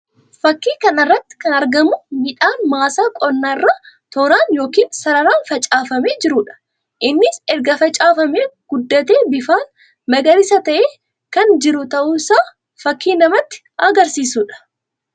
Fakkii kana irratti kan argamu midhaan maasaa qonnaa irra tooraan yookiin sararaan facaafamee jiruu dha. Innis erga facaafamee guddatee bifaan magariisa ta'e kan jiru ta'uu isaa fakkii namatti agarsiisuu dha.